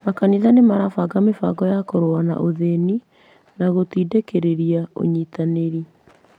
Makanitha nĩ marabanga mĩbango ya kũrũa na ũthĩni na gũtindĩkĩrĩria ũnyitanĩri.